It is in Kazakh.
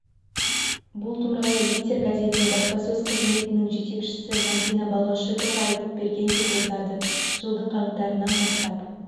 бұл туралы литер газетіне баспасөз қызметінің жетекшісі мәдина балғашукова айтып берген деп жазады жылдың қаңтарынан бастап